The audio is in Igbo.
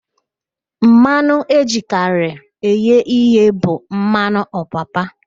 Mmanụ ejikarị eghe ihe bụ mmanụ ọpapa